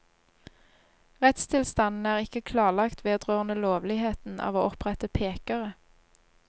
Rettstilstanden er ikke klarlagt vedrørende lovligheten av å opprette pekere.